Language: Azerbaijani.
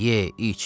Ye, iç.